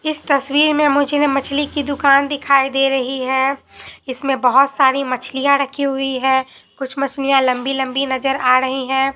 इस तस्वीर में मुझे न मछली की दुकान दिखाई दे रही है इसमें बहोत सारी मछलियां रखी हुई है कुछ मछलियां लंबी लंबी नजर आ रही हैं।